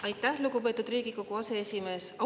Aitäh, lugupeetud Riigikogu aseesimees!